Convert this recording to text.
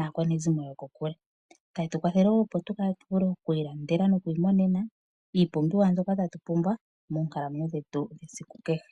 aakwanezimo yokokule. Otayi tu kwathele wo, opo tu vule oku ilandela nokwiimonena iipumbiwa mbyoka ta tu pumbwa moonkalamwenyo dhetu dhesiku kehe.